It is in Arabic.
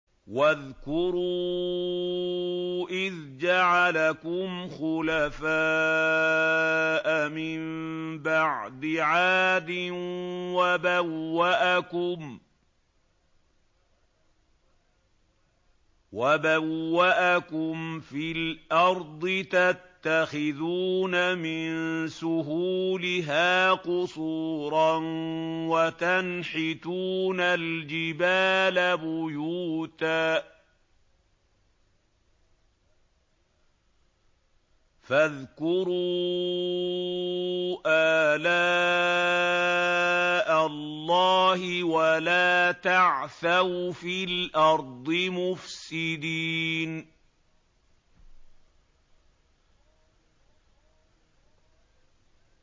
وَاذْكُرُوا إِذْ جَعَلَكُمْ خُلَفَاءَ مِن بَعْدِ عَادٍ وَبَوَّأَكُمْ فِي الْأَرْضِ تَتَّخِذُونَ مِن سُهُولِهَا قُصُورًا وَتَنْحِتُونَ الْجِبَالَ بُيُوتًا ۖ فَاذْكُرُوا آلَاءَ اللَّهِ وَلَا تَعْثَوْا فِي الْأَرْضِ مُفْسِدِينَ